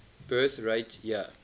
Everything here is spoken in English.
birth rate year